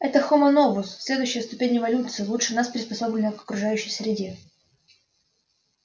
это хомо новус следующая ступень эволюции лучше нас приспособленная к окружающей среде